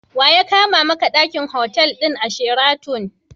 Wa ya kama maka ɗaki a otal ɗin Sheraton?